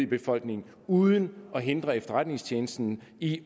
befolkningen uden at hindre efterretningstjenesten i